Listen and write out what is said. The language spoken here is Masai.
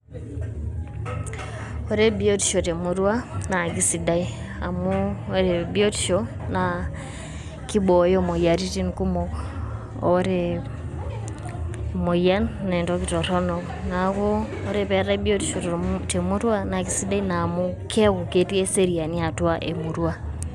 Ore biotisho te murrua naa akesidai, amu ore biotisho naa kibooyo imoyiaritin kumok ore e emoyian naa entoki torrono, neeku ore pee eetai biotisho te murua naa ekesidai naa amu keeku ketii eseriani atua e murua.